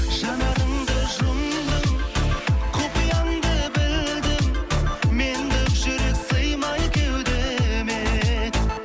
жанарыңды жұмдың құпияңды білдім мендік жүрек сыймай кеудеме